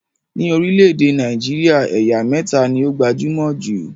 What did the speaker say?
Ní orílẹ̀èdè Nàìjíríà, ẹ̀yà mẹta ni ó gbajúmọ̀ jù